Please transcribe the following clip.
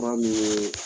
Ba min ye